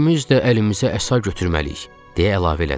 İkimiz də əlimizə əsa götürməliyik, deyə əlavə elədi.